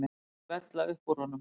Vísurnar vella upp úr honum.